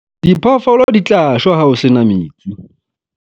diphoofolo di tla shwa ha ho se na metsi.